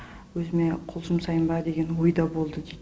өзіме қол жұмсайын ба деген ой да болды дейді